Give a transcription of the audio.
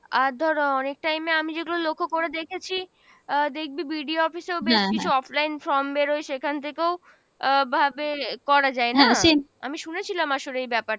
আর ধর অ~ অনেক time এ আমি যেগুলো লক্ষ্য করে দেখেছি আহ দেখবি BDO office এও বেশ কিছু offline form বেরোই সেখান থেকেও আহ ভাবে করা যাই না? আমি শুনেছিলাম আসলে এই ব্যাপার,